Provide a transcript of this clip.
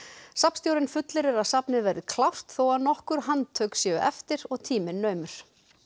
safnstjórinn fullyrðir að safnið verði klárt þó að nokkur handtök séu eftir og tíminn naumur